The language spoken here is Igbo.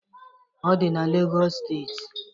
Ọ di na Legọs steeti